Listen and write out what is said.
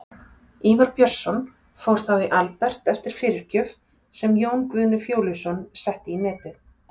Ívar Björnsson fór þá í Albert eftir fyrirgjöf, sem Jón Guðni Fjóluson setti í netið.